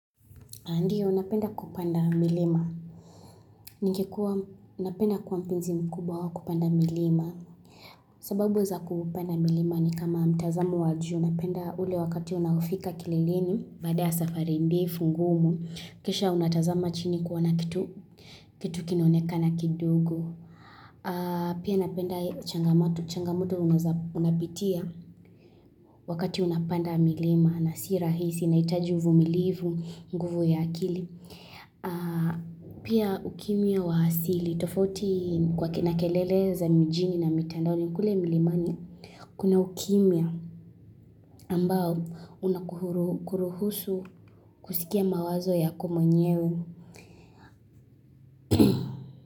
Ndio, napenda kupanda milima. Ningekuwa, napenda kuwa mpenzi mkubawa wa kupanda milima. Sababu za kupanda milima ni kama mtazamo wa juu napenda ule wakati unaofika kileleni, baada ya safari ndefu ngumu, kisha unatazama chini kuona kitu, kitu kinanoneka na kidogo. Pia napenda changamoto, changamoto unapitia wakati unapanda milima. Na si rahisi, inahitaji uvumilivu, nguvu ya akili. Pia ukimya wa hasili tofauti kwa kina kelele za mijini na mitandaoni kule milimani. Kuna ukimya ambao unakuruhusu kusikia mawazo yako mwenyewe.